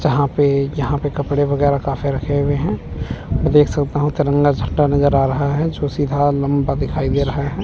जहां पे यहां पे कपड़े वगेरा काफी रखे हुए हैं देख सकता हूँ तिरंगा झंडा नज़र आ रहा है जो सीधा लम्बा दिखाई दे रहा है।